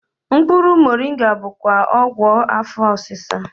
Mkpụrụ Moringa bụkwa ọgwụ afọ osisa